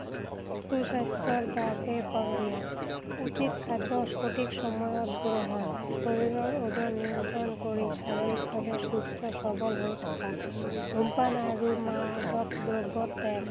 সুস্বাস্থ্যৰ বাবে কৰণীয়। উচিত খাদ্য সঠিক সময়ত গ্ৰহণ। শৰীৰৰ ওজন নিয়ন্ত্ৰণ কৰি শাৰিৰীক ভাৱে সুস্থ সৱল হৈ থকা। ধূমপান আৰু মাদক দ্ৰব্য ত্যাগ।